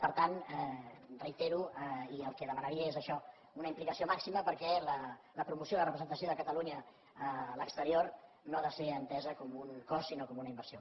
per tant ho reitero i el que demanaria és això una implicació màxima perquè la promoció i la representació de catalunya a l’exterior no ha de ser entesa com un cost sinó com una inversió